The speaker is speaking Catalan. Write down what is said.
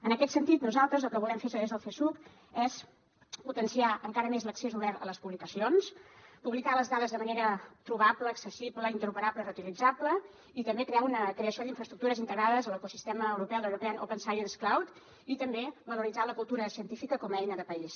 en aquest sentit nosaltres el que volem fer des del csuc és potenciar encara més l’accés obert a les publicacions publicar les dades de manera trobable accessible interoperable i reutilitzable i també crear una creació d’infraestructures integrades a l’ecosistema europeu de l’european open science cloud i també valoritzar la cultura científica com a eina de país